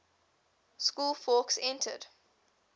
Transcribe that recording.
school fawkes entered